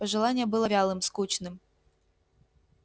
пожелание было вялым скучным